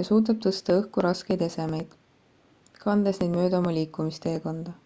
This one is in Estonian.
ja suudab tõsta õhku raskeid esemeid kandes neid mööda oma liikumisteekonda